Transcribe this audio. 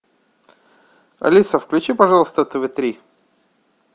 алиса включи пожалуйста тв три